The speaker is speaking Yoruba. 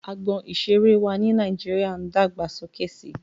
Agbọn ìseré wa ni Nàíjíríà ń dàgbà sókè si.